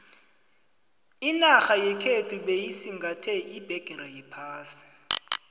inarha yekhethu beyisingathe iphegere yephasi